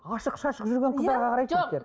ашық шашық жүрген қыздарға қарайды жігіттер